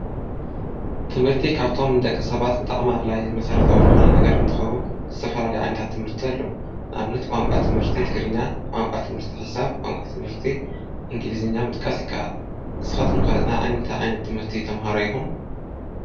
ትምህርቲ ካብቶም ንደቂ ሰባት ብጣዕሚ ኣድላይን መሰረታዊ ዝኾነ ነገር እንትከዉን ዝተፈላለዩ ዓይነታት ትምህርቲ ኣለዉ፡፡ ንኣብነት ቋንቋ ትምህርቲ ትግርኛ፣ ቋንቋ ትምህርቲ ሒሳብ፣ ቋንቋ ትምህርቲ እንግሊዝኛ ምጥቃስ ይካኣል፡፡ ንስካትኩም ከ ናይ ታይ ዓይነት ትምህርቲ ተማሃሮ ኢኩም?